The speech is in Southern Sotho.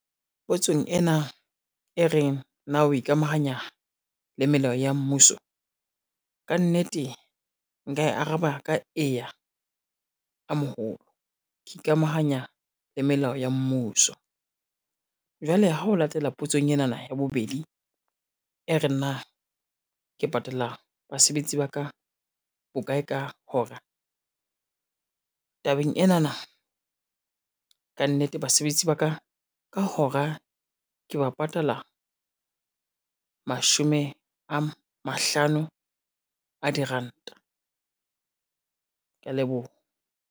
Potsong ena e reng na o ikamahanya le melao ya mmuso? Kannete nka e araba ka eya, a moholo ke ikamahanya le melao ya mmuso. Jwale ha o latela potsong enana ya bobedi, e reng na ke patala basebetsi ba ka bokae ka hora, tabeng enana kannete basebetsi ba ka ka hora ke ba patala mashome a mahlano a diranta. Kea leboha.